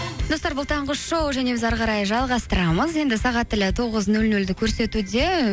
достар бұл таңғы шоу және біз әрі қарай жалғастырамыз енді сағат тілі тоғыз нөл нөлді көрсетуде